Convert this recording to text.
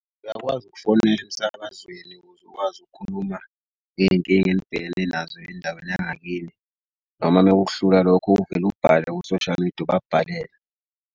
Uyakwazi ukufonela emsakazweni ukuze ukwazi ukukhuluma ngey'nkinga enibhekele nazo endaweni yangakini noma mekuhlula lokho uvele ubhale ku-social media ubabhalele.